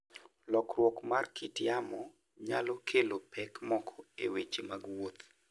Lokruok mar kit yamo nyalo kelo pek moko e weche mag wuoth.